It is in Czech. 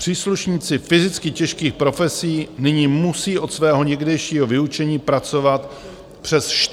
Příslušníci fyzicky těžkých profesí nyní musí od svého někdejšího vyučení pracovat přes 45 let.